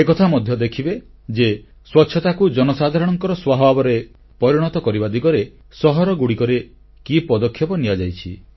ଏକଥା ମଧ୍ୟ ଦେଖିବେ ଯେ ସ୍ୱଚ୍ଛତାକୁ ଜନସାଧାରଣଙ୍କର ସ୍ୱଭାବରେ ପରିଣତ କରିବା ଦିଗରେ ସହରଗୁଡ଼ିକରେ କି ପଦକ୍ଷେପ ନିଆଯାଇଛି